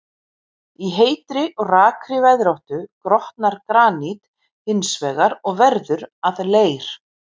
Í heitri og rakri veðráttu grotnar granít hins vegar og verður að leir.